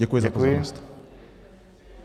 Děkuji za pozornost.